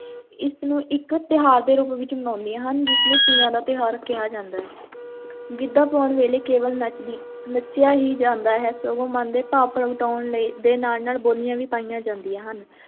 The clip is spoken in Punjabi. ਇਸ ਨੂੰ ਇੱਕ ਤਿਉਹਾਰ ਦੇ ਰੂਪ ਵਿੱਚ ਮਨਾਉਂਦੀਆਂ ਹਨ, ਜਿਸ ਨੂੰ ਤੀਆਂ ਦਾ ਤਿਉਹਾਰ ਕਿਹਾ ਜਾਂਦਾ ਹੈ ਗਿੱਧਾ ਪਾਉਣ ਵੇਲੇ ਕੇਵਲ ਨੱਚਦੀ, ਨੱਚਿਆ ਹੀ ਜਾਂਦਾ ਹੈ, ਸਗੋਂ ਮਨ ਦੇ ਭਾਵ ਪ੍ਰਗਟਾਉਣ ਲਈ, ਦੇ ਨਾਲ ਨਾਲ ਬੋਲੀਆਂ ਵੀ ਪਾਈਆਂ ਜਾਂਦੀਆਂ ਹਨ।